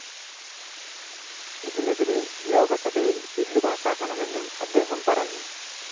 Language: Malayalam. ഇതിനെതിരെ ലോകസഭയില്‍ ബിൽ പാസാക്കണമെന്നും അദ്ദേഹം പറഞ്ഞു